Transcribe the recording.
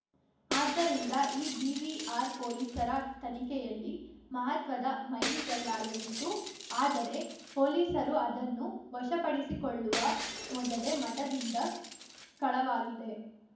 ಆದ್ದರಿಂದ ಈ ಡಿವಿಆರ್‌ ಪೊಲೀಸರ ತನಿಖೆಯಲ್ಲಿ ಮಹತ್ವದ ಮೈಲಿಗಲ್ಲಾಗಲಿತ್ತು ಆದರೇ ಪೊಲೀಸರು ಅದನ್ನು ವಶಪಡಿಸಿಕೊಳ್ಳುವ ಮೊದಲೇ ಮಠದಿಂದ ಕಳವಾಗಿದೆ